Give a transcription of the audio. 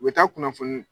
U bɛ taa kunnafoni